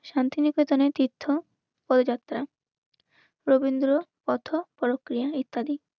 শান্তিনিকেতনের তীর্থ পদযাত্রা রবীন্দ্র কথক্রিয়া ইত্যাদি